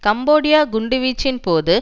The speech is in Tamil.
கம்போடியா குண்டுவீச்சின் போது